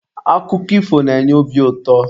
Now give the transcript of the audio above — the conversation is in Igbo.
Akụkọ ifo na-enye obi ụtọ.